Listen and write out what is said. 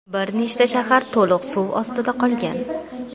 Bir nechta shahar to‘liq suv ostida qolgan.